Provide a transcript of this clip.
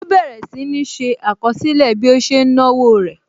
Ó bẹ̀rẹ̀ sì ní ṣé àkọsílẹ̀ bí ó ṣe ń náwó rẹ̀